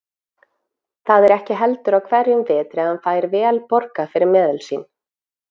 Það er ekki heldur á hverjum vetri að hann fær vel borgað fyrir meðul sín.